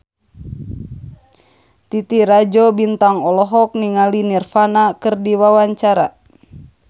Titi Rajo Bintang olohok ningali Nirvana keur diwawancara